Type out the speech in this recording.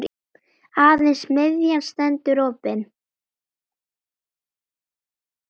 Aðeins miðjan stendur opin.